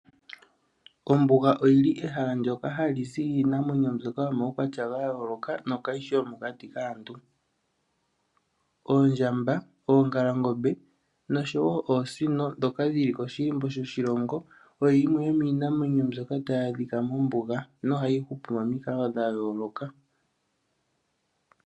Ombuga oyili ehala ndyoka hali zi iinamwenyo mbyoka yomaukwatya ga yooloka no kayishi yomokati kaantu. Oondjamba, oongalangombe nosho wooosino dhoka dhili koshilimbo shoshilongo. Oyo yimwe yomiinamwenyo mbyoka tayi adhika mombuga nohayi hupu momikalo dhayoloka.